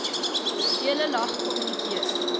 deel lag kommunikeer